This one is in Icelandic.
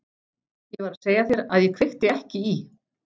Ég var að segja þér að ég kveikti ekki í.